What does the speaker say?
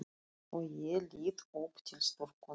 Og ég lít upp til stúlkunnar.